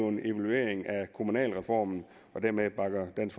en evaluering af kommunalreformen og dermed bakker dansk